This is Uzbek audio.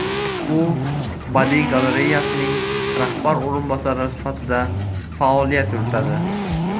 U badiiy galereyasining rahbar o‘rinbosari sifatida faoliyat yuritadi.